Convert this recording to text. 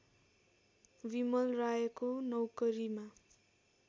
बिमल रायको नौकरीमा